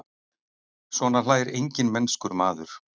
Svona hlær enginn mennskur maður.